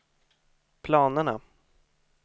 planerna